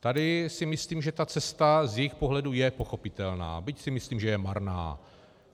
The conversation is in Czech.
Tady si myslím, že ta cesta z jejich pohledu je pochopitelná, byť si myslím, že je marná.